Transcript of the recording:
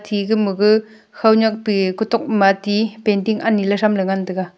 ega maga khaonyak pi kutok ma ti painting ani lay thamley ngan tega.